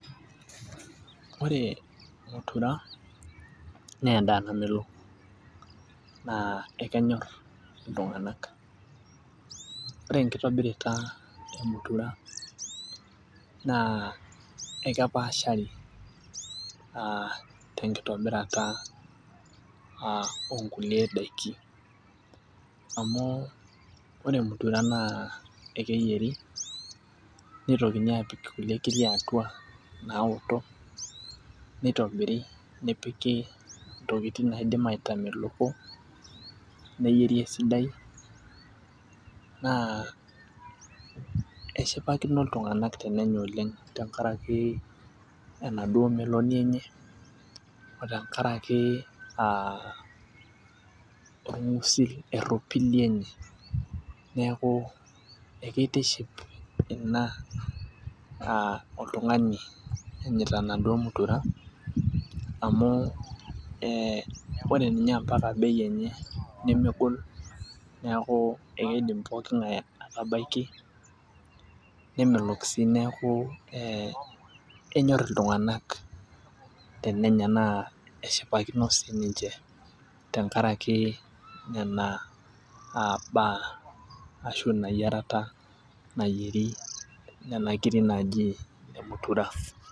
Ore mutura naa edaa namelol, naa ekenyor, iltunganak. Ore enkitobirata e mutura. Naa ekepaashari tenkitobirata oonkulolie daiki. amu ore mutura naa ekeyieri nitokini aapik kulie kiri atua ,naoto. nitobiri nepiki kulie tokitin naidim aitameloko. neyieri esidai naa eshipakino iltunganak oleng tenkaraki enaduo meloni enye. otenkaraki aa orgusil eropili enye. neeku kitiship Ina aa oltungani oogira ayier mutura. amu ore ninye mpaka bei enye nemegol neeku ekeiidim pookin ng'ae aatabaiki. nemelok sii neeku ee enyor iltunganak tenenya naa eshipakino sii ninche tenkaraki nena mbaya Ashe Ina yiarata nayieri Nena kiri naaji ine mutura.